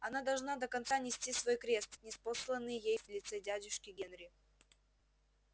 она должна до конца нести свой крест ниспосланный ей в лице дядюшки генри